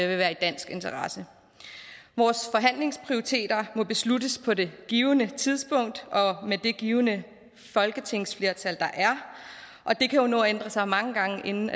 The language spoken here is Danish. vil være i dansk interesse vores forhandlingsprioriteter må besluttes på det givne tidspunkt og med det givne folketingsflertal der er og det kan jo nå at ændre sig mange gange inden